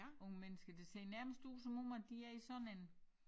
Unge mennesker det ser nærmest ud som om at de er i sådan en